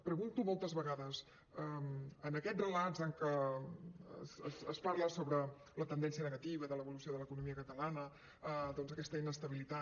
pregunto moltes vegades en aquests relats en què es parla sobre la tendència negativa de l’evolució de l’economia catalana doncs aquesta inestabilitat